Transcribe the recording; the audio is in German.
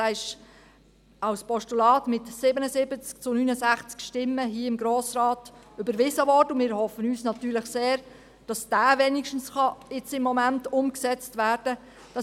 Dieser wurde mit 77 zu 69 Stimmen hier im Grossen Rat als Postulat überwiesen, und wir hoffen natürlich sehr, dass dieser wenigstens im Moment umgesetzt werden kann.